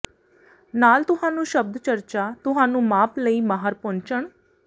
ਨਾਲ ਤੁਹਾਨੂੰ ਸ਼ਬਦ ਚਰਚਾ ਤੁਹਾਨੂੰ ਮਾਪ ਲਈ ਮਾਹਰ ਪਹੁੰਚਣ